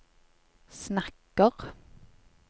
snakker